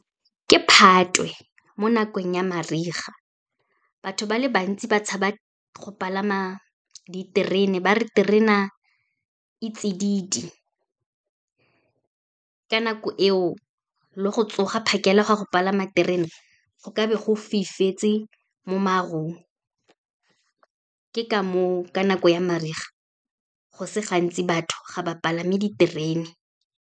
Ke Phatwe, mo nakong ya mariga. Batho ba le bantsi ba tshaba go palama diterene, ba re terena e tsididi. Ka nako eo, le go tsoga phakela gwa go palama terena, go ka be go fifetse mo marung, ke ka moo ka nako ya mariga, go se gantsi batho ga ba palame diterene.